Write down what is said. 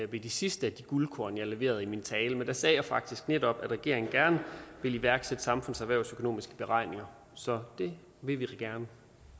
ved de sidste af de guldkorn jeg leverede i min tale men der sagde jeg faktisk netop at regeringen gerne ville iværksætte samfunds og erhvervsøkonomiske beregninger så det vil vi gerne